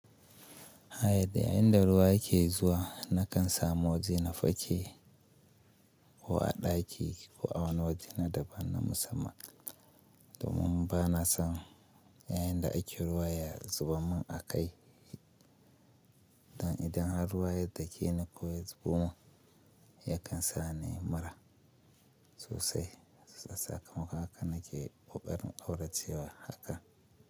Haya da inda ruwa yake zuwa nakan samu waje na fake ko a daki ko a wani waje na daban na musamman domin bana son yayinda aji ruwa ya zubar min a kai. Dan idan har ruwa ya dake ni ko ya zubo min yakan sa ni mura sosai. Sakamakon haka nake ƙoƙarin ƙauracewa haka.